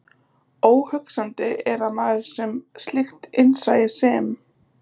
Óhugsandi er að maður með slíkt innsæi sem